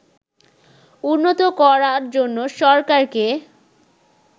উন্নত করার জন্য সরকারকে